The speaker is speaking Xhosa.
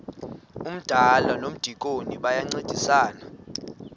umdala nomdikoni bayancedisana